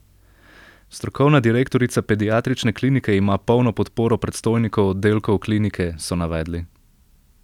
Strokovna direktorica pediatrične klinike ima polno podporo predstojnikov oddelkov klinike, so navedli.